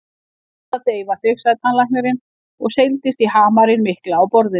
Ég ætla fyrst að deyfa þig, sagði tannlæknirinn og seildist í hamarinn mikla á borðinu.